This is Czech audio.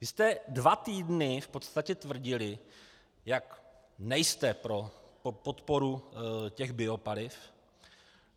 Vy jste dva týdny v podstatě tvrdili, jak nejste pro podporu těch biopaliv.